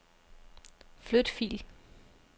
Flyt fil.